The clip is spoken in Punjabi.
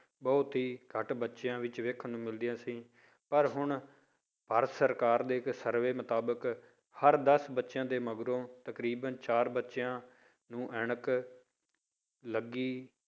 ਬਹੁਤ ਹੀ ਘੱਟ ਬੱਚਿਆਂ ਵਿੱਚ ਵੇਖਣ ਨੂੰ ਮਿਲਦੀਆਂ ਸੀ ਪਰ ਹੁਣ ਭਾਰਤ ਸਰਕਾਰ ਦੇ ਇੱਕ ਸਰਵੇ ਮੁਤਾਬਕ ਹਰ ਦਸ ਬੱਚਿਆਂ ਦੇ ਮਗਰੋਂ ਤਕਰੀਬਨ ਚਾਰ ਬੱਚਿਆਂ ਨੂੰ ਐਨਕ ਲੱਗੀ